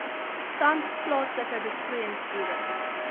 tans plaaslike besproeiingsboere